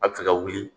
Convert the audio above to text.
A bɛ se ka wuli